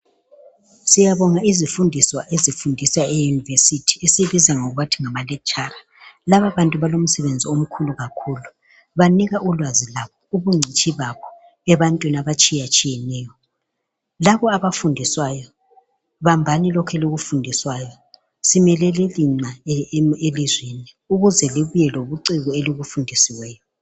Siyabonga izifundiswa ezifundisa emayunivesithi esizibiza ngokuthi ngamalekhitshara. Lababantu balomsebenzi omkhulu banika ulwazi lobungcitshi babo ebantwini abatshiyetshiyeneyo. Labo abafundiswayo bambani lokho elikufundiswayo simelele lina elizweni ukuze libuye lobuciko elibufundisiweyo.